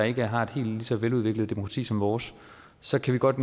ikke har et helt så veludviklet demokrati som vores så kan vi godt